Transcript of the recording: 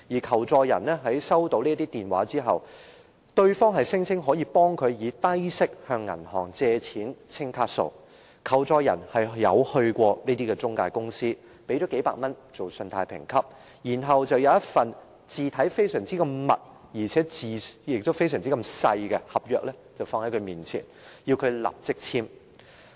求助人表示在收到這些電話後，對方聲稱可代他向銀行低息借錢清還卡數，求助人曾到過中介公司，支付數百元作信貸評級，然後，公司給他一份文字很小且排列得密密麻麻的合約，要求他立即簽署。